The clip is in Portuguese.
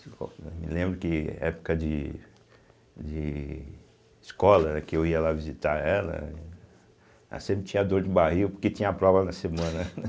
Eu me lembro que época de de escola, né, que eu ia lá visitar ela, ela sempre tinha dor de barriga porque tinha a prova na semana.